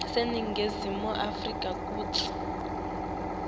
aseningizimu afrika kutsi